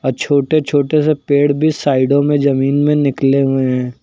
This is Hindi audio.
अ छोटे छोटे से पेड़ बी साइडों में जमीन में निकले हुए हैं।